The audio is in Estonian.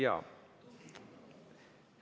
Jaa.